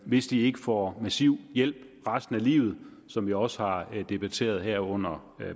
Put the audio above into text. hvis de ikke får massiv hjælp resten af livet som vi også har debatteret det her under